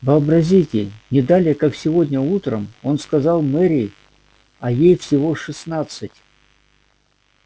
вообразите не далее как сегодня утром он сказал мэри а ей всего шестнадцать